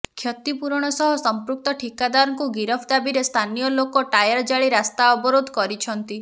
କ୍ଷତିପୂରଣ ସହ ସମ୍ପୃକ୍ତ ଠିକାଦାରଙ୍କୁ ଗିରଫ ଦାବିରେ ସ୍ଥାନୀୟ ଲୋକଙ୍କ ଟାୟାର ଜାଳି ରାସ୍ତା ଅବରୋଧ କରିଛନ୍ତି